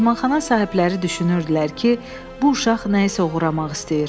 Mehmanxana sahibləri düşünürdülər ki, bu uşaq nəyisə oğurlamaq istəyir.